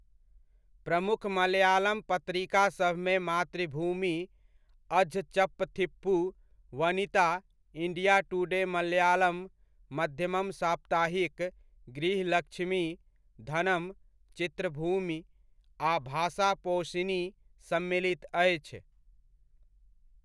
प्रमुख मलयालम पत्रिकासभमे Mathrubhumi Azhchappathippu, Vanitha, India Today Malayalam, Madhyamam साप्ताहिक, गृहलक्ष्मी, धनम, चित्रभूमि, आ भाषापोशिनी सम्मिलित अछि।